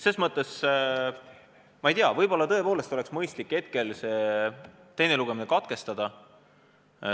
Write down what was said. Ma ei tea, võib-olla oleks tõepoolest mõistlik praegu teine lugemine katkestada.